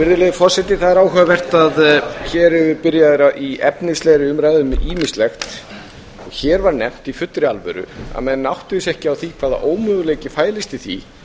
virðulegi forseti það er áhugavert að hér eru byrjaðir í efnislegri umræðu um ýmislegt og hér var nefnt í fullri alvöru að menn áttuðu sig ekki á því hvaða ómöguleiki fælist í því